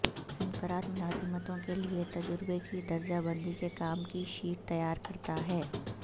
انفرادی ملازمتوں کے لئے تجربے کی درجہ بندی کے کام کی شیٹ تیار کرتا ہے